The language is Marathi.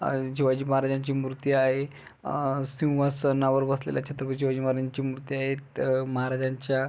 अ शिवाजी महाराजांची मूर्ती आहे अ सिव्हासणावर बसलेल्या छत्रपती शिवाजी महाराज्यांची मूर्ती आहे अ महाराज्यांच्या --